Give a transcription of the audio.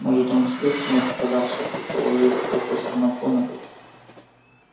может он успел снять нападавшего предположила профессор макгонагалл